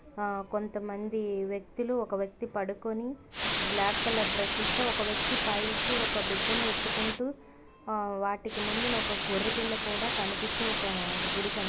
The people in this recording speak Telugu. ఆ కొంతమంది వ్యక్తులు ఒక వ్యక్తి పడుకొని బ్లాక్ కలర్ డ్రెస్సెస్ తో ఒక వ్యక్తి పైకి ఒక బిడ్డని ఎత్తుకుంటూ ఆ వాటికి ముందు ఒక గొర్రెపిల్ల కూడా కనిపిస్తూ ఒక గుడి క--